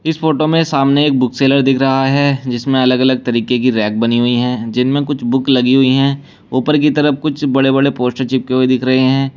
इस फोटो में सामने एक बुक सेलर दिख रहा है जिसमें अलग अलग तरीके की रैक बनी हुई है जिनमें कुछ बुक लगी हुई है ऊपर की तरफ कुछ बड़े बड़े पोस्टर चिपके हुए दिख रहे हैं।